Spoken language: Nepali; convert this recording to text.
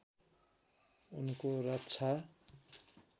उनको रक्षा